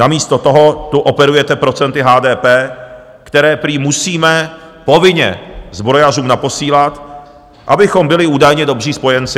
Namísto toho tu operujete procenty HDP, která prý musíme povinně zbrojařům naposílat, abychom byli údajně dobří spojenci.